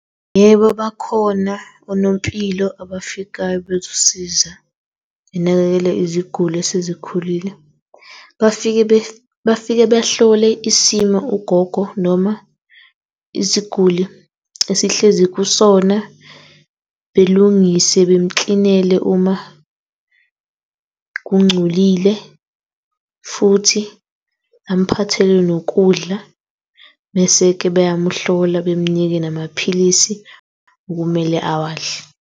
Yebo, bakhona onompilo abafikayo bezosiza benakekele iziguli esezikhulile. Bafike bafike behlole isimo ugogo noma isiguli esihlezi kusona. Belungise bemuklinele uma kungcolile, futhi amphathele nokudla bese-ke beyamuhlola bemnike namaphilisi okumele awadle.